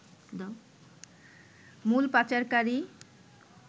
মূল পাচারকারী